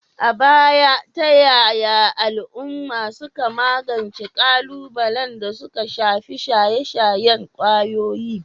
A baya, ta yaya al'uma suka magance kalubalen da suka shafi shaye-shayen kwayoyi?